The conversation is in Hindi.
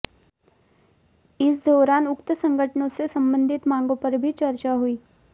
इस दौरान उक्त संगठनों से संबंधित मांगों पर भी चर्चा हुई